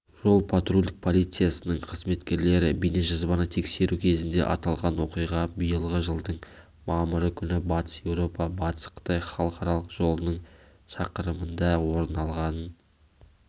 жол-патрульдік полициясының қызметкерлері бейнежазбаны тексеру кезінде аталған оқиға биылғы жылдың мамыры күні батыс еуропа батыс қытай халықаралық жолының шақырымында орын алғанын